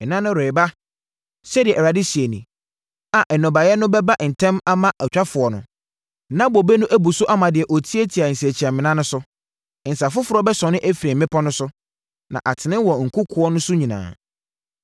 “Nna no reba,” sɛdeɛ Awurade seɛ nie, “A nnɔbaeɛ no bɛba ntɛm ama ɔtwafoɔ no, na bobe no abu so ama deɛ ɔtiatia nsakyiamena no so no. Nsa foforɔ bɛsɔne afiri mmepɔ no so na atene wɔ nkokoɔ no nyinaa so.